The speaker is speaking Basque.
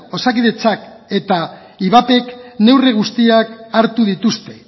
osakidetzak eta ivapk neurri guztiak hartu dituzte